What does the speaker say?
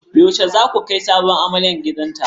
Yaushe zasu kai sabuwar amarya gidanta?